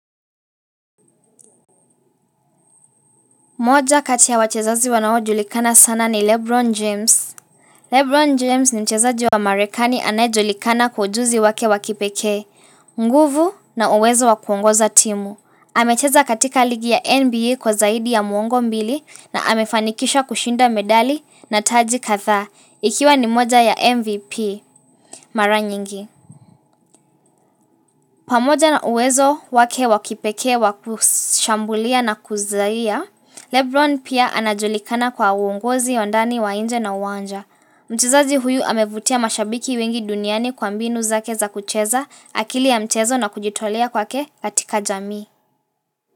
Mmoja katiya wachezazi wanao julikana sana ni Lebron James. Lebron James ni mchezaji wa marekani anayejulikana kwa ujuzi wake wakipekee, nguvu na uwezo wakuongoza timu. Amecheza katika ligi ya NBA kwa zaidi ya mwongo mbili na amefanikisha kushinda medali na taji kathaa, ikiwa ni moja ya MVP mara nyingi. Pamoja na uwezo wake wakipekee wakushambulia na kuzahia, Lebron pia anajulikana kwa uongozi wa ndani na nje ya uwanja. Mchezaji huyu amevutia mashabiki wengi duniani kwa mbinu zake za kucheza akili ya mchezo na kujitolea kwake katika jamii.